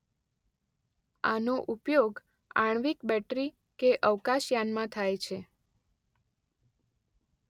આનો ઉપયોગ આણ્વીક બેટરી કે અવકાશયાનમાં થાય છે.